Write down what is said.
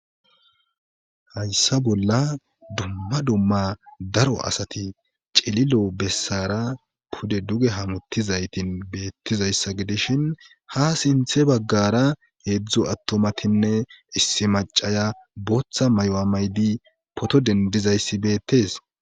Hayssa bolla dumma dumma daro asati celilo bessara pude duge hamuttizaytin beettizayssa gidishin ha sinthe baggara heedzdzo attomatinne issi macaya booththa may'o maydi poto dendizayssi beettes.